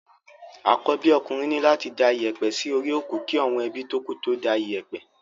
Àkọ́bí okùnrin ní láti da iyẹ̀pẹ̀ sí orí òkú kí àwọn ebí tókù tó da iyẹ̀pẹ̀.